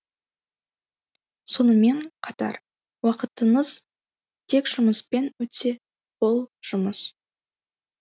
сонымен қатар уақытыңыз тек жұмыспен өтсе бұл жұмыс